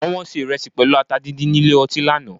Wọ́n ṣe ìrẹsì pẹ̀lú ata díndín nílé ọtí lánàá